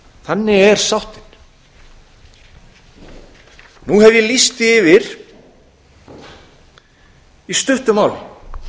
þannig er sáttin nú hef ég lýst því yfir í stuttu máli